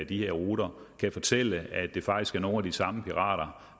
de her ruter kan fortælle at det faktisk er nogle af de samme pirater